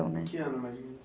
Em que ano mais ou menos?